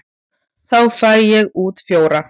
Þá fæ ég út fjóra.